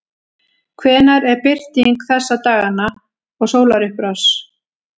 hvenær er birting þessa dagana og sólarupprás